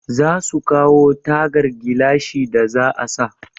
Za su kawo tagar gilashin da za a sa.